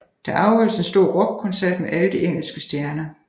Der afholdes en stor rockkoncert med alle de engelske stjerner